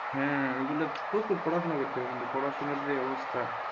হ্যাঁওগুলো যে প্রচুর পড়াশোনা করতে হবে কিন্তু পড়াশোনার যা অবস্থা,